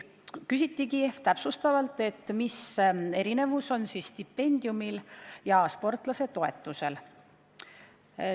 Küsiti täpsustavalt, mis erinevus on stipendiumil ja sportlasetoetusel.